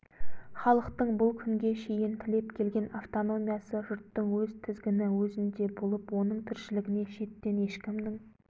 халықтың бұл күнге шейін тілеп келген автономиясы жұрттың өз тізгіні өзінде болып оның тіршілігіне шеттен ешкімнің